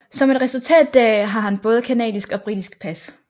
Som et resultat deraf har han både canadisk og britisk pas